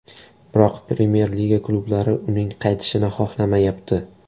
Biroq Premyer Liga klublari uning qaytishini xohlamayapti.